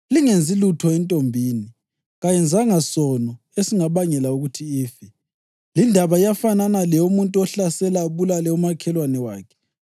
Lingenzi lutho entombini; kayenzanga sono esingabangela ukuthi ife. Lindaba iyafanana leyomuntu ohlasela abulale umakhelwane wakhe,